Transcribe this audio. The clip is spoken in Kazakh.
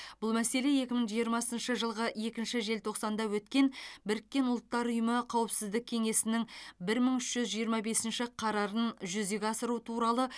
бұл мәселе екі мың жиырмасыншы жылғы екінші желтоқсанда өткен біріккен ұлттар ұйымы қауіпсіздік кеңесінің бір мың үш жүз жиырма бесінші қарарын жүзеге асыру туралы